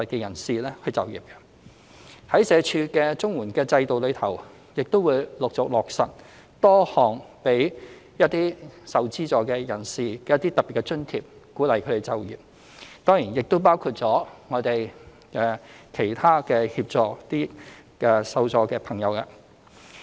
社署的綜合社會保障援助制度亦會陸續落實多項給予受助人士的特別津貼，鼓勵他們就業；當然還包括其他協助這些受助朋友的措施。